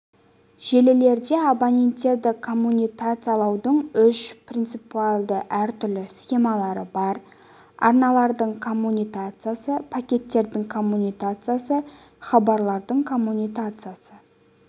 желілерде абоненттерді коммутациялаудың үш принципиалды әртүрлі схемалары бар арналардың коммутациясы пакеттердің коммутациясы хабарламалардың коммутациясы